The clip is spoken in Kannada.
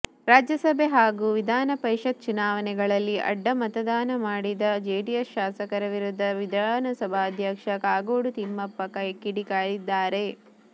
ರಾಜ್ಯಸಭೆ ಹಾಗೂ ವಿಧಾನಪರಿಷತ್ ಚುನಾವಣೆಗಳಲ್ಲಿ ಅಡ್ಡ ಮತದಾನ ಮಾಡಿದ ಜೆಡಿಎಸ್ ಶಾಸಕರ ವಿರುದ್ಧ ವಿಧಾನಸಭಾಧ್ಯಕ್ಷ ಕಾಗೋಡು ತಿಮ್ಮಪ್ಪ ಕಿಡಿಕಾರಿದ್ದಾರೆ